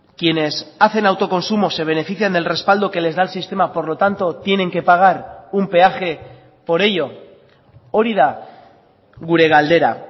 quienes hacen autoconsumo se benefician del respaldo que les da el sistema por lo tanto tienen que pagar un peaje por ello hori da gure galdera